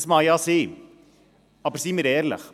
Das mag ja sein, aber seien wir ehrlich: